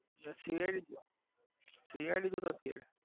CIDCID જોતા CID